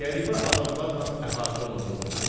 Qəribə adamlarla əhatə olunduğunu gördü.